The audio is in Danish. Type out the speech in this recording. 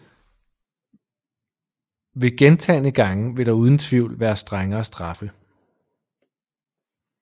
Ved gentagne gange vil der uden tvivl være strengere straffe